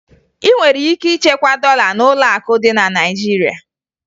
Ị nwere ike ichekwa dọla n'ụlọakụ dị na Naịjirịa